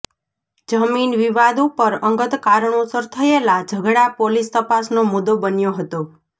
જમીન વિવાદ ઉપર અંગત કારણોસર થયેલા ઝઘડા પોલીસ તપાસનો મુદ્દો બન્યો હતો